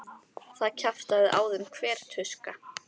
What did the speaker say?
Það kjaftaði á þeim hver tuska.